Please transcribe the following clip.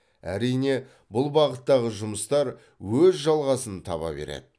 әрине бұл бағыттағы жұмыстар өз жалғасын таба береді